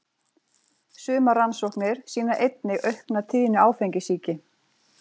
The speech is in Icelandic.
Sumar rannsóknir sýna einnig aukna tíðni áfengissýki.